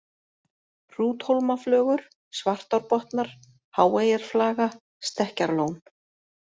Hrúthólmaflögur, Svartárbotnar, Háeyjarflaga, Stekkjarlón